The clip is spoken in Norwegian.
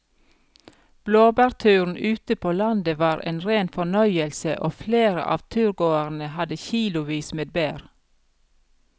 Blåbærturen ute på landet var en rein fornøyelse og flere av turgåerene hadde kilosvis med bær.